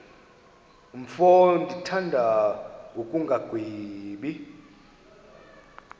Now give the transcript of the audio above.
mfo ndimthanda ngokungagwebi